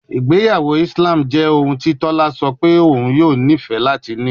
Igbeyawo Islam jẹ ohun ti tola sọ pe oun yoo nifẹ lati ni